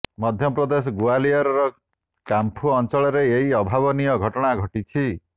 ମଧ୍ୟପ୍ରଦେଶ ଗ୍ବାଲିୟରର କାମ୍ପୁ ଅଞ୍ଚଳରେ ଏହି ଅଭାବନୀୟ ଘଟଣା ଘଟିଛି